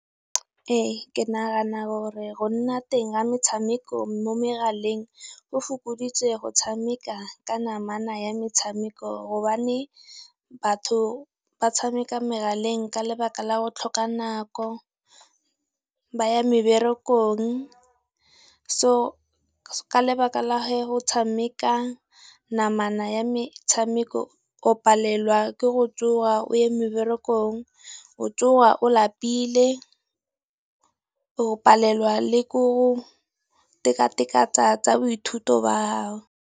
Ee ke nagana gore go nna teng ga metshameko mo megaleng, go fokoditse go tshameka ka namana ya metshameko gobane batho ba tshameka megaleng ka lebaka la go tlhoka nako, ba ya meberekong. So ka lebaka la go tshameka namana ya metshameko, o palelwa ke go tsoga o ye meberekong, o tsoga o lapile, o palelwa le ke go tekateka tsa tsa boithuti ba gago.